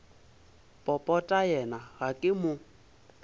popota yena ga ke mo